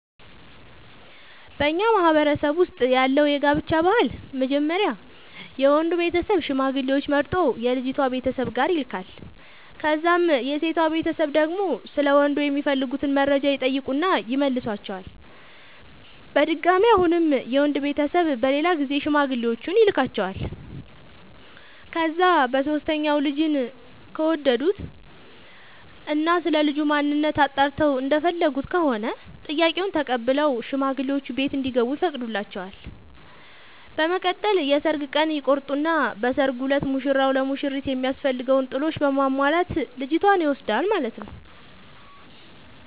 በኛ ማህበረሰብ ውስጥ ያለው የጋብቻ ባህል መጀመሪያ የወንዱ ቤተሰብ ሽማግሌዎች መርጦ የልጅቷ ቤተሰብ ጋር ይልካል። ከዛም የሴቷ ቤተሰብ ደግሞ ስለ ወንዱ የሚፈልጉትን መረጃ ይጠይቁና ይመልሷቸዋል። በድጋሚ አሁንም የወንድ ቤተሰብ በሌላ ጊዜ ሽማግሌዎቹን ይልኳቸዋል። ከዛ በሶስተኛው ልጁን ከወደዱት እና ስለልጁ ማንነት አጣርተው እንደሚፈልጉት ከሆነ ጥያቄውን ተቀብለው ሽማግሌዎቹ ቤት እንዲገቡ ይፈቅዱላቸዋል። በመቀጠል የሰርግ ቀን ይቆርጡና በሰርጉ እለት ሙሽራው ለሙሽሪት የሚያስፈልገውን ጥሎሽ በማሟላት ልጅቷን ይወስዳል ማለት ነው።